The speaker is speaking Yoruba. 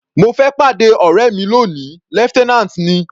Mo fẹ́ pàdé ọ̀rẹ́ mi lóni, lieutenant ni.